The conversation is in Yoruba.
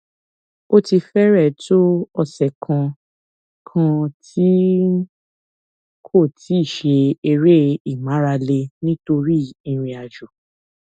ó ti fẹrẹẹ tó ọsẹ kan kan tí n kò ti ṣe eré ìmárale nítorí ìrìnàjò